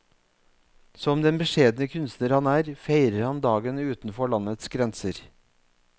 Som den beskjedne kunstner han er, feirer han dagen utenfor landets grenser.